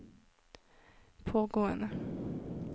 pågående